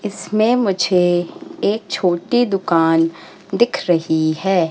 इसमें मुझे एक छोटी दुकान दिख रही है।